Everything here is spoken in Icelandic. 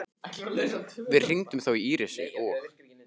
Við hringdum þó í Írisi og